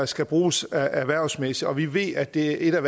skal bruges erhvervsmæssigt og vi ved at det er et af